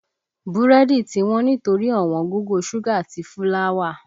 Búrẹ́dì tí wọ́n nítorí ọ̀wọ́ngógó ṣúgà àti fúláwà